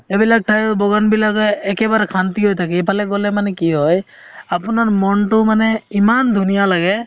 এইবিলাক ঠাই বগান বিলাকে একেবাৰে শন্তি হয় থাকে এইফালে গলে মানে কি হয় আপুনাৰ মনতো মানে ইমান ধুনীয়া লাগে